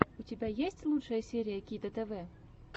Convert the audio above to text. у тебя есть лучшая серия кито тв